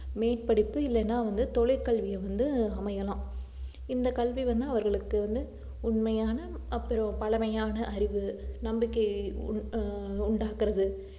மேற்படிப்பு இல்லைன்னா வந்து தொழிற்கல்வியை வந்து அமையலாம் இந்த கல்வி வந்து அவர்களுக்கு வந்து உண்மையான அப்புறம் பழமையான அறிவு நம்பிக்கைய உண்~ ஆஹ் உண்டாக்குறது